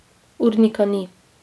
Urnika ni.